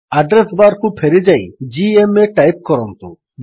address bar କୁ ଫେରିଯାଇ ଜିଏମଏ ଟାଇପ୍ କରନ୍ତୁ